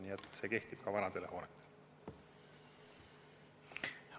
Nii et see kehtib ka vanade hoonete kohta.